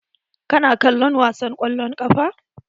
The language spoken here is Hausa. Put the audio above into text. Ka na kallom wasan kwallon kafa?